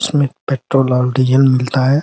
उसमें पेट्रोल और डीजल मिलता है।